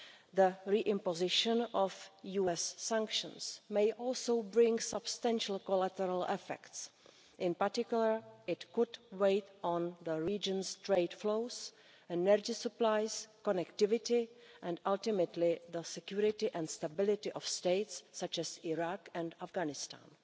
The re imposition of US sanctions may also bring substantial collateral effects, in particular it could weigh on the region's trade flows and energy supplies, connectivity and ultimately the security and stability of states such as Iraq and Afghanistan.